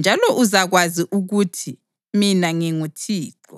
njalo uzakwazi ukuthi mina nginguThixo.